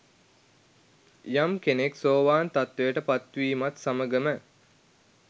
යම් කෙනෙක් සෝවාන් තත්ත්වයට පත්වීමත් සමඟම